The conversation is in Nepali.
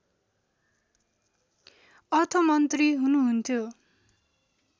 अर्थमन्त्री हुनुहुन्थ्यो